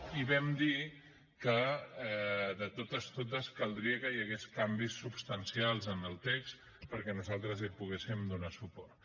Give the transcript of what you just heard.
i vam dir que de totes caldria que hi hagués canvis substancials en el text perquè nosaltres hi poguéssim donar suport